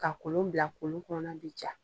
Ka kolon bila kolon kɔnɔna bi ja